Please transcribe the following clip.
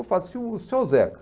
Eu falo assim, se um senhor Zeca,